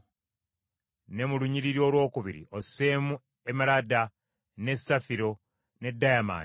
ne mu lunyiriri olwokubiri osseemu emalada, ne safiro ne dayamandi;